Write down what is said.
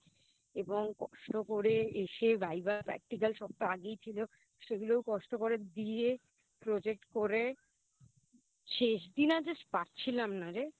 এবং কষ্ট করে এসে Viva practical সব তো আগেই ছিল সেগুলোও কষ্ট করে দিয়ে Project করে শেষ দিন আর Just পারছিলাম না রে